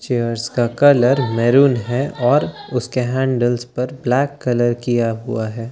Chairs का colour मेहरून है और उसके हैंडल्स पर ब्लैक कलर किया हुआ है ।